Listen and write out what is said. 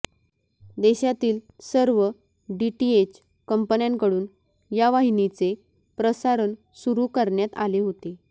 देशातील सर्व डीटीएच कंपन्यांकडून या वाहिनीचे प्रसारण सुरू करण्यात आले होते